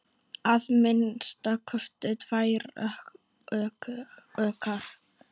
Að minnsta kosti tvær okkar.